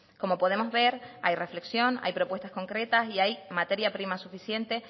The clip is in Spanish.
como podemos ver hay reflexión hay propuestas concretas y hay materia prima suficiente